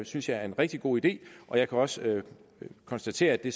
synes jeg er en rigtig god idé jeg kan også konstatere at det